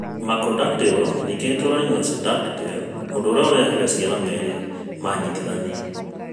Macrodactyly ningĩ no ĩtũũranie na syndactyly, ũndũ ũrĩa ũrehaga ciara merĩ manyitithanĩtio.